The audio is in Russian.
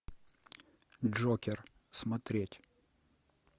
джокер смотреть